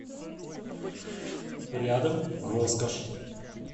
рядом роскошь